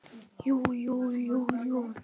Jú jú, jú jú.